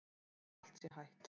Þótt allt sé hætt?